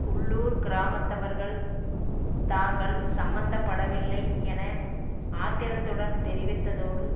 உள்ளூர் கிராமத்தவர்கள் தாங்கள் சம்பந்தப்படவில்லை என ஆத்திரத்துடன் தெரிவித்ததோடு